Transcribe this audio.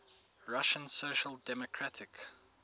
russian social democratic